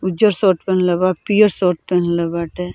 उज्जर शर्ट पहनले बा पियर शर्ट पहनले बाटे।